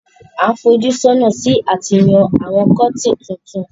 A n fojú sọ́nà si àti yán àwon curtain tuntun